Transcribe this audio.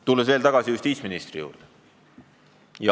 Tulen veel tagasi justiitsministri seisukohtade juurde.